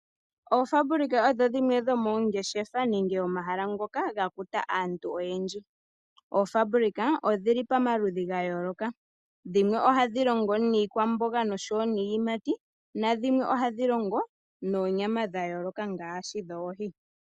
Oofabulika odho dhimwe dhomoongeshefa nenge omahala ngoka ga kuta aantu oyendji. Oofabulika odhi li pamaludhi ga yooloka. Dhimwe ohadhi longo niikwamboga noshowo niiyimati na dhimwe ohadhi longo noonyama dha yooloka ngaashi oohi.